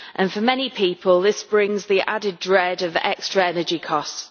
For many people this brings the added dread of extra energy costs.